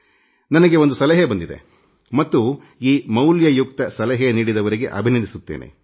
ನನಗೆ ಒಂದು ಸಲಹೆ ಬಂದಿದೆ ಮತ್ತು ಈ ಮೌಲ್ಯಯುಕ್ತ ಸಲಹೆ ನೀಡಿದವರಿಗೆ ಅಭಿನಂದಿಸುತ್ತೇನೆ